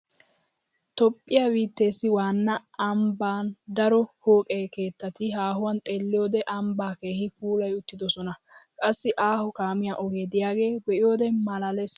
Toophphiya biitteessi waanna ambban daro pooqe keettati haahuwan xeelliyoode ambbaa keehi puulayi uttidosona. Qassi aaho kaamiya ogee diyaagaa be'iyoode malaalees.